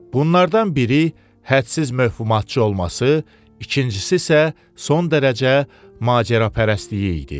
Bunlardan biri hədsiz məfhumatçı olması, ikincisi isə son dərəcə macərapərəstliyi idi.